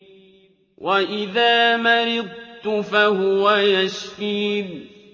وَإِذَا مَرِضْتُ فَهُوَ يَشْفِينِ